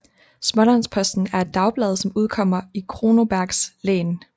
Smålandsposten er et dagblad som udkommer i Kronobergs län